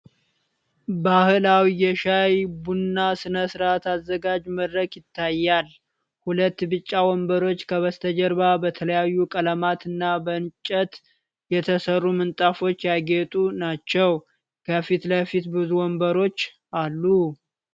ባህላዊ የሻይ/ቡና ሥነ ሥርዓት አዘጋጅ መድረክ ይታያል። ሁለት ቢጫ ወንበሮች ከበስተጀርባ በተለያዩ ቀለማትና በእንጨት የተሰሩ ምንጣፎች ያጌጡ ናቸው። ከፊት ለፊት ብዙ ወንበሮች አሉ።